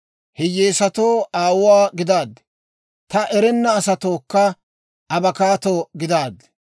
Hiyyeesatoo aawuwaa gidaaddi; taani erenna asatookka abakkaatto gidaaddi.